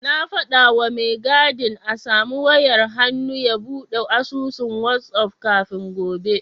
Na faɗawa mai gadin a samu wayar hannu ya buɗe asusun wazaf kafin gobe.